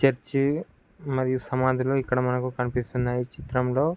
church మరియు సమాధులు ఇక్కడ మనకు కనిపిస్తున్నాయి చిత్రంలో --